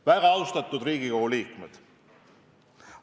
Väga austatud Riigikogu liikmed!